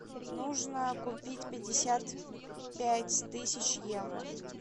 нужно купить пятьдесят пять тысяч евро